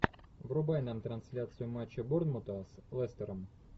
врубай нам трансляцию матча борнмута с лестером